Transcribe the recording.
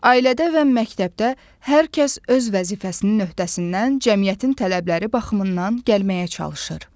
Ailədə və məktəbdə hər kəs öz vəzifəsinin öhdəsindən cəmiyyətin tələbləri baxımından gəlməyə çalışır.